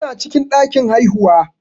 Tana cikin ɗakin haihuwa.